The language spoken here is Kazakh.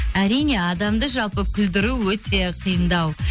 әрине адамды жалпы күлдіру өте қиындау